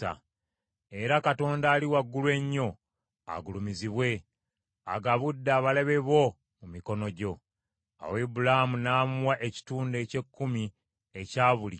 Era Katonda Ali Waggulu Ennyo agulumizibwe agabudde abalabe bo mu mikono gyo.” Awo Ibulaamu n’amuwa ekitundu eky’ekkumi ekya buli kimu.